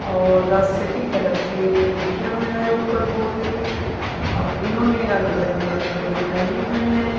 और the city cafe लिखा हुए है ऊपर बोर्ड दे और इन्होंने रंग बिरंगे कपड़े जो पहने हुए हैं।